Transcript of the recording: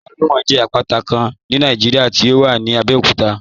Àpátà Olúmọ̀ jẹ àpátà Kán ní Nàìjíríà tí ó wà ní Àbẹ̀òkútà